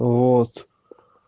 вот